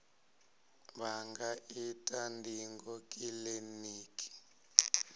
vha nga ita ndingo kiliniki